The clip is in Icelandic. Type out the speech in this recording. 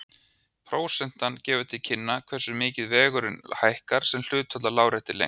Prósentan gefur til kynna hversu mikið vegurinn hækkar sem hlutfall af láréttri lengd.